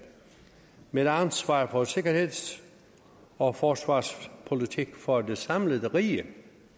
med ansvar for sikkerheds og forsvarspolitik for det samlede rige